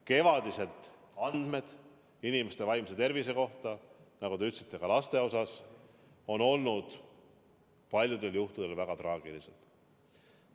Kevadised andmed inimeste vaimse tervise kohta, nagu te ütlesite ka laste osas, on olnud paljudel juhtudel väga traagilised.